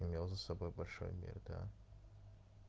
имел за собой большой мир да